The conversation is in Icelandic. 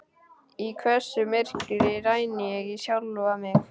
Í hvössu myrkri rýni ég í sjálfa mig.